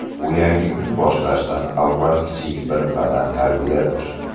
Bu yangi kun boshlashdan avval kichik bir badantarbiyadir.